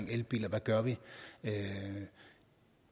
elbiler hvad gør vi